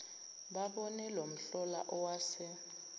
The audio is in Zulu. babone lomhlola owase